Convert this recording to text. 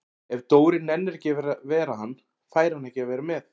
Ef Dóri nennir ekki að vera hann, fær hann ekki að vera með